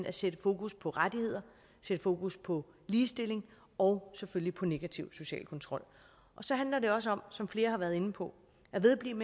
at sætte fokus på rettigheder sætte fokus på ligestilling og selvfølgelig på negativ social kontrol så handler det også om som flere har været inde på at vedblive